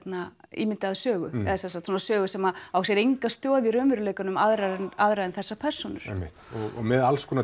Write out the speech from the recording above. ímyndaða sögu eða sögu sem á sér enga stoð í raunveruleikanum aðrar en aðrar en þessar persónur einmitt og með alls konar